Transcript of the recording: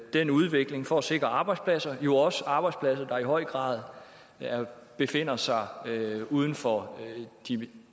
den udvikling for at sikre arbejdspladser og jo også arbejdspladser der i høj grad befinder sig uden for de